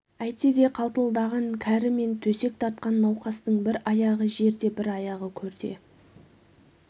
әйтсе де қалтылдаған кәрі мен төсек тартқан науқастың бір аяғы жерде бір аяғы көрде